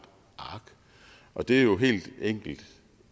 ark og det er jo helt enkelt